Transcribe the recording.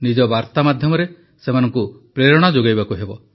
ନିଜ ବାର୍ତ୍ତା ମାଧ୍ୟମରେ ସେମାନଙ୍କୁ ପ୍ରେରଣା ଯୋଗାଇବାକୁ ହେବ